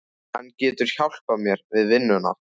Hann getur hjálpað mér við vinnuna